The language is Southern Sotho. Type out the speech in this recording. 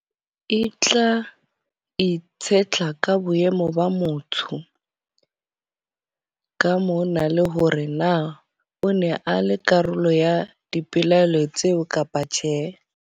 E tla itshetla ka boemo ba motsho. Ka mona le hore na o ne a le karolo ya dipelaelo tseo kapa tjhe.